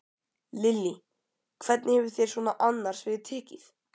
Lillý: Hvernig hefur þér svona annars verið tekið?